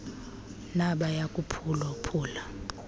nabaya kuphula phula